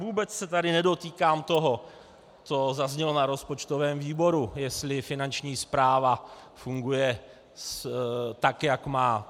Vůbec se tady nedotýkám toho, co zaznělo na rozpočtovém výboru, jestli Finanční správa funguje, tak jak má.